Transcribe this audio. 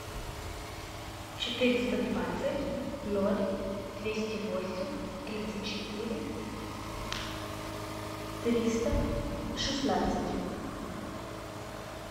четыреста двадцать ноль двести восемь тридцать четыре триста шестнадцать